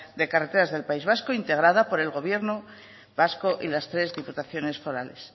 de carreteras del país vasco integrada por el gobierno vasco y las tres diputaciones forales